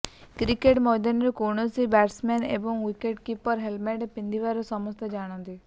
cricket ମୈଦାନରେ କୌଣସି batsman ଏବଂ ୱିକେଟକିପର ହେଲମେଟ୍ ପିନ୍ଧିଥାର ସମସ୍ତେ ଜାଣନ୍ତି